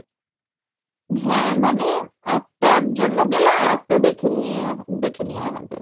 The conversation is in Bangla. হ্যাঁ মানে একটার জন্য গেলে আর একটা দেখে নেওয়া দেখে নেওয়া হবে